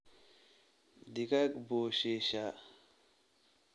Digaag buu shiishaa